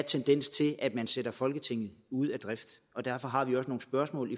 tendens til at man sætter folketinget ud af drift og derfor har vi også nogle spørgsmål